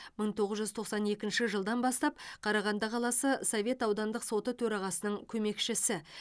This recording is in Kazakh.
мың тоғыз жүз тоқсан екінші жылдан бастап қарағанды қаласы совет аудандық соты төрағасының көмекшісі